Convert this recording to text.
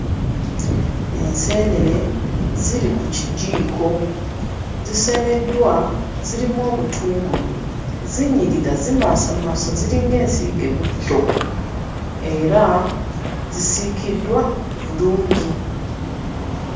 Enseenene ziri ku kijiiko. Ziseneddwa, zirimu obutungulu. Zinyirira zimasamasa ziringa ensiige butto. Era zisiikiddwa bulungi.